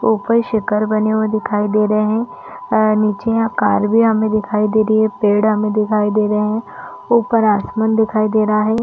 ऊपर शिखर बनी हुई दिखाई दे रहे है और निचे यहाँ कार भी हमें दिखाई दे रही है पेड़ हमे दिखाई दे रहे है ऊपर आसमान हमे दिखाई दे रहा है।